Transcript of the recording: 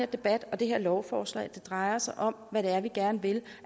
debat og det her lovforslag drejer sig om hvad det er vi gerne vil